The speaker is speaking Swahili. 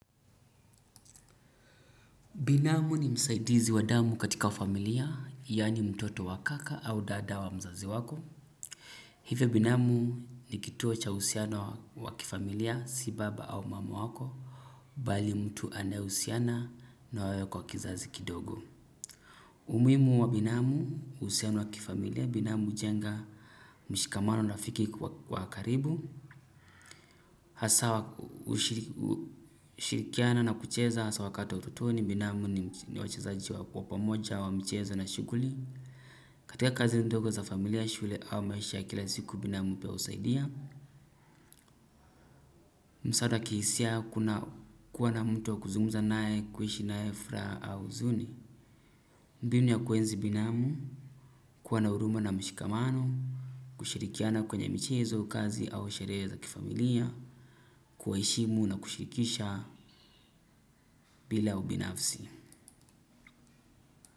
Binamu ni msaidizi wa damu katika familia, yaani mtoto wa kaka au dada wa mzazi wako. Hivyo binamu ni kituo cha uhusiano wa kifamilia, si baba au mama wako, bali mtu anayehusiana na wewe kwa kizazi kidogo. Umuhimu wa binamu, uhusiano wa kifamilia, binamu ujenga mshikamano na rafiki wa karibu. Hasa ushirikiana na kucheza haswa wakati wa ototoni binamu ni wachezaji wa kuwa pamoja wa mchezo na shughuli. Katika kazi ndogo za familia shule au maisha ya kila siku binamu pia husaidia. Msaada kihisia kuwa na mtu wa kuzungumza naye kuishi naye furaha au uzuni. Mbimu ya kuenzi binamu kuwa na huruma na mshikamano. Kushirikiana kwenye mchezo kazi au sherehe za kifamilia. Kuheshimu na kushirikisha bila ubinafsi.